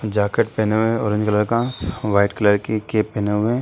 Jacket पहना हुआ है ऑरेंज कलर का व्हाइट कलर का कैप पहने हुआ है।